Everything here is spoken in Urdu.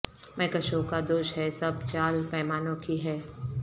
میکشوں کا دوش ہے سب چال پیمانوں کی ہے